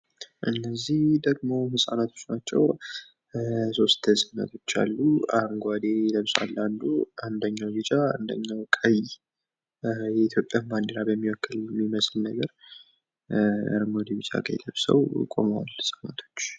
እነዚህ ደሞ ህጻናቶች ናቸው። 3 ህጻናቶች አሉ። አረንጓዴ ለብስዋል አንዱ ፣ አንደኛው ቢጫ ፣ አንደኛው ቀይ የኢትዮጵያን ባንዲራ በሚወክል በሚመስል ነገር አረንጓዴ፣ ቢጫ፣ ቀይ ለብሰው ቆመዋል ህጻናቶች።